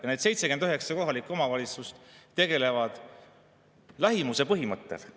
Ja need 79 kohalikku omavalitsust tegutsevad lähimuse põhimõttel.